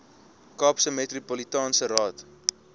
kaapse metropolitaanse raad